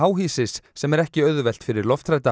háhýsis sem er ekki auðvelt fyrir